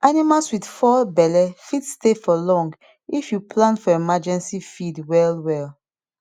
animals with four belle fit stay for long if you plan for emergency feed well well